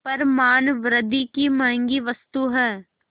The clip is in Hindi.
पर मानवृद्वि की महँगी वस्तु है